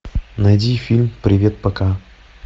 найди фильм привет пока